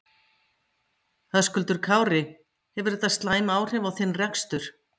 Höskuldur Kári: Hefur þetta slæm áhrif á þinn rekstur?